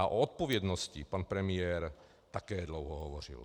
A o odpovědnosti pan premiér také dlouho hovořil.